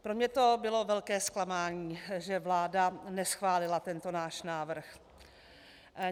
Pro mne to bylo velké zklamání, že vláda neschválila tento náš návrh.